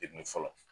fɔlɔ